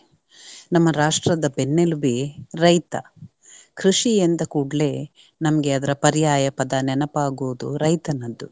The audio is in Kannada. ನಮ್ಮ ರಾಷ್ಟ್ರದ ಬೆನ್ನೆಲುಬೆ ರೈತ. ಕೃಷಿ ಎಂದ ಕೂಡ್ಲೇ ನಮ್ಗೆ ಅದರ ಪರ್ಯಾಯ ಪದ ನೆನಪಾಗುವುದು ರೈತನದ್ದು.